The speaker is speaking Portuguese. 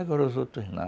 Agora os outros não.